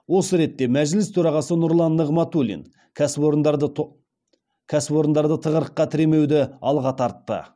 осы ретте мәжіліс төрағасы нұрлан нығматулин кәсіпорындарды тығырыққа тіремеуді алға тартты